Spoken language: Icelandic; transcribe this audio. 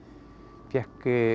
fékk